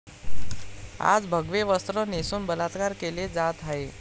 आज भगवे वस्त्र नेसून बलात्कार केले जात आहेत.